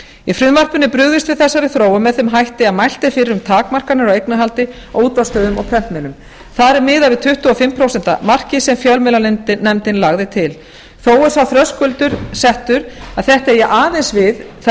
í frumvarpinu er brugðist við þessari þróun með þeim hætti að mælt er fyrir um takmarkanir á eignarhaldi á útvarpsstöðvum og prentmiðlum þar er miðað við tuttugu og fimm prósent markið sem fjölmiðlanefndin lagði til þó er sá þröskuldur settur að þetta eigi aðeins við þær